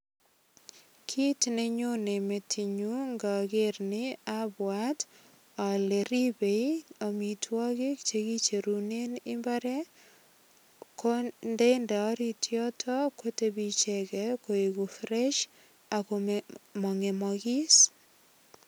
Kit nenyone metinyu ngoger ni abwat ale ribei amitwogik che kicherunen imbaret ko ndende orit yoto kotebi icheget koegu fresh ago mongemogis.